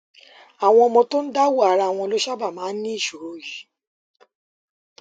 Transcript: àwọn ọmọ tó ń dáwó ara wọn ló sábà máa ń ní ìṣòro yìí